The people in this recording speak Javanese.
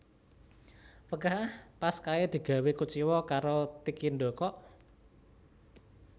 Wegah ah pas kae digawe kuciwa karo Tikindo kok